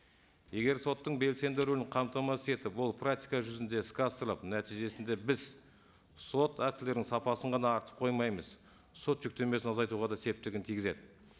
егер соттың белсенді рөлін қамтамасыз етіп ол практика жүзінде іске асырылып нәтижесінде біз сот актілерінің сапасын ғана артып қоймаймыз сот жүктемесін азайтуға да септігін тигізеді